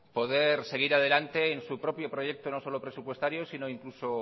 poder seguir adelante en su propio proyecto no solo presupuestario sino incluso